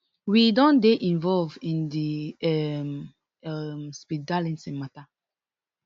we don dey involve in di um um speed darlington matta